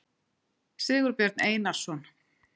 sigurbjörn einarsson